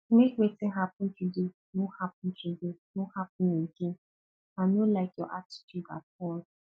make wetin happen today no happen today no happen again i no like your attitude at all